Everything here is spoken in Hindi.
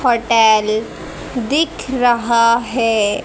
होटेल दिख रहा है।